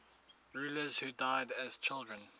rulers who died as children